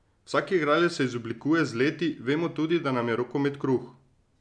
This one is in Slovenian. Vsak igralec se izoblikuje z leti, vemo tudi, da nam je rokomet kruh.